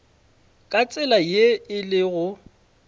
ka tsela ye e lego